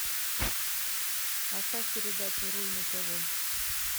поставь передачу руль на тв